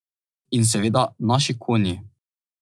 In seveda naši konji.